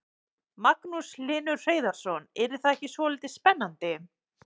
Magnús Hlynur Hreiðarsson: Yrði það ekki svolítið spennandi?